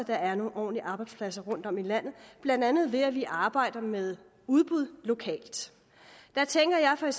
er nogle ordentlige arbejdspladser rundtom i landet blandt andet ved at vi arbejder med udbud lokalt der tænker jeg for